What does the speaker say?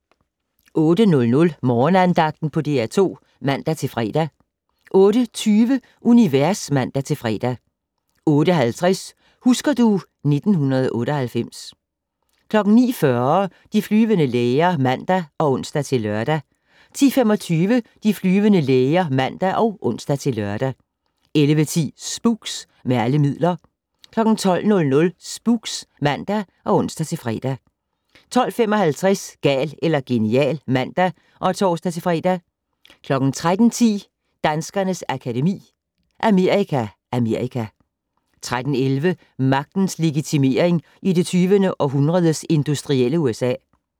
08:00: Morgenandagten på DR2 (man-fre) 08:20: Univers (man-fre) 08:50: Husker du ... 1998 09:40: De flyvende læger (man og ons-lør) 10:25: De flyvende læger (man og ons-lør) 11:10: Spooks: Med alle midler 12:00: Spooks (man og ons-fre) 12:55: Gal eller genial (man og tor-fre) 13:10: Danskernes Akademi: Amerika Amerika 13:11: Magtens legitimering i det 20. århundredes industrielle USA